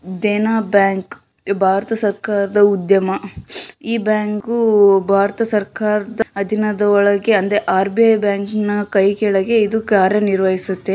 Dena bank ಭಾರತ ಸರ್ಕಾರದ ಉದ್ಯಮ ಈ ಬ್ಯಾಂಕ್ ಭಾರತ ಸರ್ಕಾರದ ಅದೀನದೊಳಗೆ ಅಂದರೆ ಆರ್.ಬಿ.ಐ ಬ್ಯಾಂಕಿನ ಕೈ ಕೆಳಗೆ ಇದು ಕಾರ್ಯನಿರ್ವಹಿಸುತ್ತೆ.